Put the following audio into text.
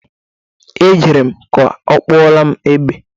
Ejere m ka ọ kpụọrọ m egbe.